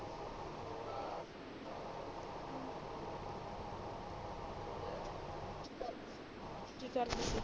ਕਿ ਕਰਦੀ ਆ